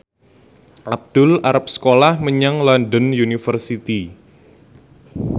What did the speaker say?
Abdul arep sekolah menyang London University